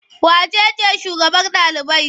Wace ce shugabar ɗalibai?